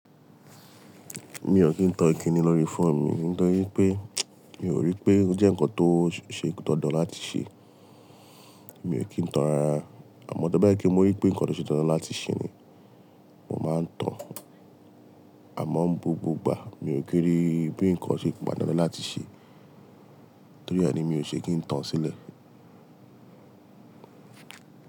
Mi ò kí ń tan ìkíni lórí fóòmù. Kí n tó sọ wípé, mi ò rí pé ó jẹ́ ǹkan tó ṣe dandan láti ṣe. Mi ò kí ń tan rárá. Àmọ́ to ba jepe mo rí pé ǹkan tó ṣe dandan láti ṣe ni, mo máa ń tan. Àmọ́ búgbà, mi ò kí n rí bí ǹkan ṣe pato lati ṣe. Torí ẹ ni mi ò ṣe kí ń tan sílẹ̀.